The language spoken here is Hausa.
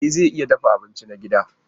E zan iya dafa abinci na gida.